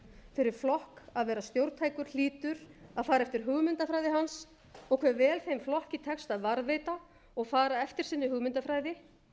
fyrir flokk að vera róttækni hlýtur að ara eftir hugmyndafræði hans og hve vel þeim flokki tekst að varðveita og fara eftir sinni hugmyndafræði